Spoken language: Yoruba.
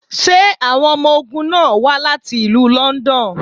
Ṣé awọn ọmọ ogun náà wá láti ìlú London?